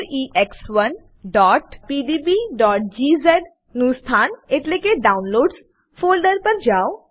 4ex1pdbજીઝ નું સ્થાન એટલેકે ડાઉનલોડ્સ ફોલ્ડર પર જાઓ